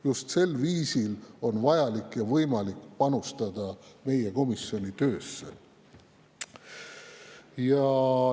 Just sel viisil on võimalik ja vaja panustada meie komisjoni töösse.